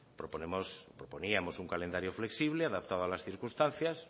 proponíamos un calendario flexible adaptado a las circunstancias